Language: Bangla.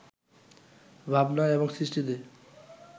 ভাবনায় এবং সৃষ্টিতে